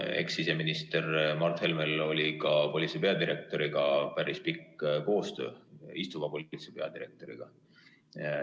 Ekssiseminister Mart Helmel oli ka päris pikk koostöö politsei peadirektoriga, istuva politsei peadirektoriga.